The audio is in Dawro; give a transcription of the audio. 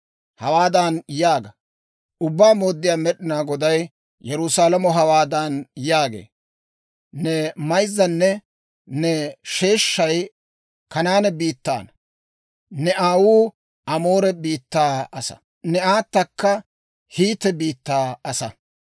Hawaadan yaaga; ‹Ubbaa Mooddiyaa Med'inaa Goday Yerusaalamo hawaadan yaagee; «Ne mayzzaynne ne sheeshshay Kanaane biittaana; ne aawuu Amoore biittaa asaa; ne aatakka Hiite biittaa asaa.